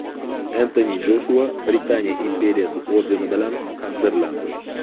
Entoni Joshua Britaniya imperiyasi ordeni bilan taqdirlandi.